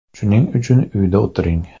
Shuning uchun uyda o‘tiring.